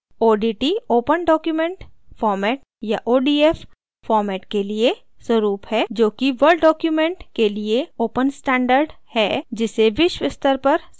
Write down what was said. odt open document format या odf format के लिए स्वरुप है जोकि word document के लिए open standard मानक है जिसे विश्व स्तर पर स्वीकार किया गया है